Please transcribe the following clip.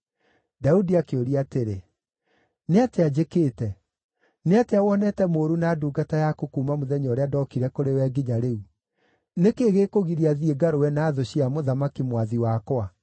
Daudi akĩũria atĩrĩ, “Nĩ atĩa njĩkĩte? Nĩ atĩa wonete mũũru na ndungata yaku kuuma mũthenya ũrĩa ndookire kũrĩ we nginya rĩu? Nĩ kĩĩ gĩkũgiria thiĩ ngarũe na thũ cia mũthamaki, mwathi wakwa?”